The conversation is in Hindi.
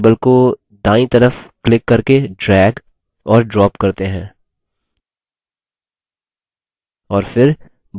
चलिए members table को दायीं तरफ click करके drag और drop करते हैं